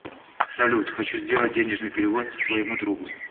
салют хочу сделать денежный перевод своему другу